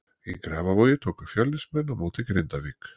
Í Grafarvogi tóku Fjölnismenn á móti Grindavík.